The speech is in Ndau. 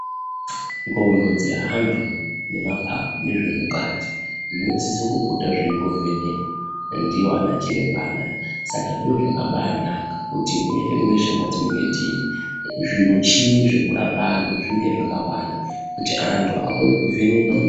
Ndxondo dzeantu nemaphaphu nezvemukati zvinosisa kupota zveimbovhenekwa ndiwo anachiremba anaya. Saka zviro zvakabaanaka kuti mweshe-mweshe mwetinenga tiri, zvimichini zvekurapa antu zvinge zvakawanda, kuti antu akone kuvhenekwa